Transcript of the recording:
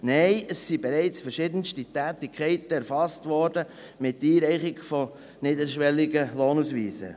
Es wurden bereits verschiedenste Tätigkeiten mit der Einreichung niederschwelliger Lohnausweise erfasst.